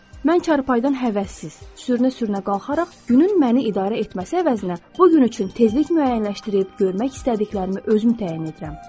Mən çarpayıdan həvəssiz, sürünə-sürünə qalxaraq günün məni idarə etməsi əvəzinə bu gün üçün tezlik müəyyənləşdirib, görmək istədiklərimi özüm təyin edirəm.